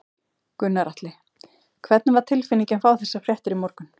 Gunnar Atli: Hvernig var tilfinningin að fá þessar fréttir í morgun?